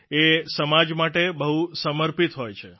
એ સમાજ માટે બહુ સમર્પિત હોય છે